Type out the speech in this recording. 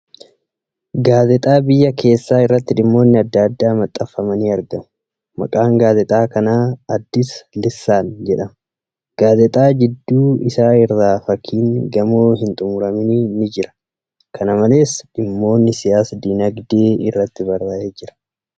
Gaazexaa biyya keessa irratti dhimmoonni adda addaa maxxanfamanii argamu. Maqaan gaazexaa kanaa ' Addis Lissaan ' jedhama. Gaazexaa jidduu isaa irra fakkiin gamoo hin xumuraminii ni jira. Kana malees, dhimmoonni siyaas-diinagdee irratti barraa'ee jira.